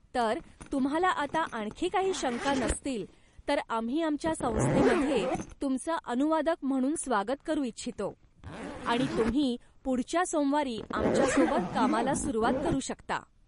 तर, तुम्हाला आता आणखी काही शंका नसतील, तर आम्ही आमच्या संस्थेमध्ये तुमचं अनुवादक म्हणून स्वागत करू इच्छितो आणि तुम्ही पुढच्या सोमवारी आमच्यासोबत कामाला सुरुवात करू शकता.